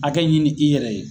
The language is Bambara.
Hakɛ ɲini i yɛrɛ ye